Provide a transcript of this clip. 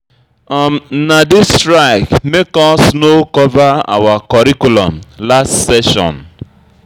Na dis strike make us no cover our curriculum last session.